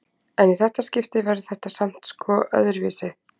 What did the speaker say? En í þetta skiptið verður þetta samt, sko, öðruvísi.